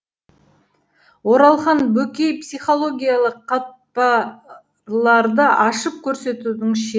оралхан бөкей психологиялық қатпарларды ашып көрсетудің ше